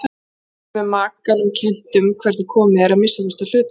Stundum er makanum kennt um hvernig komið er, að minnsta kosti að hluta til.